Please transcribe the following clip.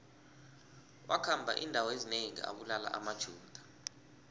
wakhamba indawo ezinengi abulala amajuda